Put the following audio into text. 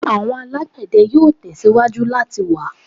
Awọn alagbẹdẹ yoo tẹsiwaju lati wa